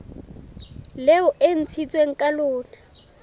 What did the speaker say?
leo e ntshitsweng ka lona